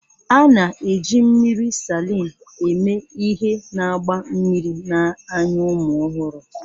A na-eji mmiri Salịn eme ihe na-agba mmiri n'anya ụmụ ọhụrụ